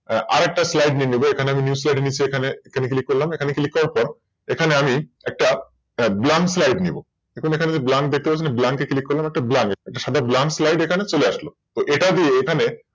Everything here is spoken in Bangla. আর আরেকটা Slide নিয়ে নেব এখানে আমি New slide নিয়ে এই যে এখানে যে দেখতে পারছেন না নিচ্ছ এখান Click করলাম এখানে একটা Blank slide এই যে এখানে যে দেখতে পারছেন না Blank মানে একটা সাদা Blank slide এখানে চলে আসলো তো এখানে